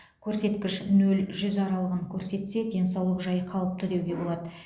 көрсеткіш нөл жүз аралығын көрсетсе денсаулық жайы қалыпты деуге болады